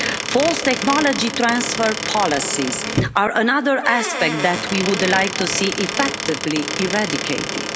Forced technology transfer policies are another aspect that we would like to see effectively eradicated.